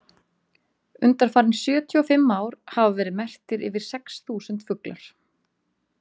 Undanfarin sjötíu og fimm ár hafa verið merktir yfir sex þúsund fuglar.